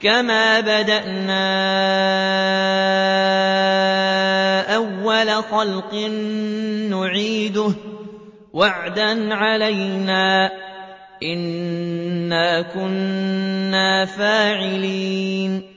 كَمَا بَدَأْنَا أَوَّلَ خَلْقٍ نُّعِيدُهُ ۚ وَعْدًا عَلَيْنَا ۚ إِنَّا كُنَّا فَاعِلِينَ